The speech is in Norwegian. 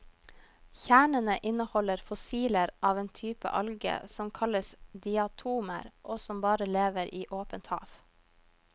Kjernene inneholder fossiler av en type alge som kalles diatomer og som bare lever i åpent hav.